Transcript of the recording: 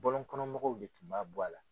Bɔlɔn kɔnɔ mɔgɔw de tun b'a bɔ a la.